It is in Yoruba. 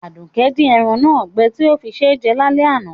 Àdùkẹ́ di eran náà gbẹ ti o fí sé jẹ lálẹ́ àná